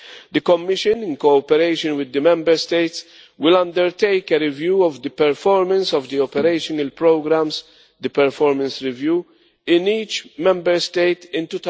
The Commission, in cooperation with the Member States, will undertake a review of the performance of the operational programmes, the performance review, in each Member State in